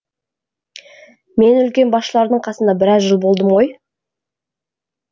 мен үлкен басшылардың қасында біраз жыл болдым ғой